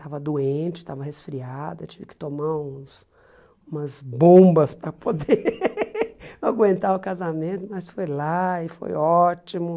Estava doente, estava resfriada, tive que tomar uns umas bombas para poder aguentar o casamento, mas foi lá e foi ótimo.